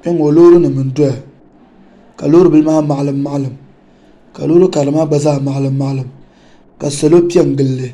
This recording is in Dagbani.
Kpɛŋŋo loori nim n doya ka loori bili maa maɣalima maɣalim ka loori karili maa gba zaa maɣalim maɣalim ka salo piɛ n gilli